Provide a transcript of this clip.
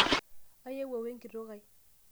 aeuo we enkitok ai